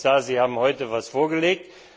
Herr Kommissar, Sie haben heute etwas vorgelegt.